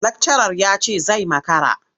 Lakcarar ya ce zai makara.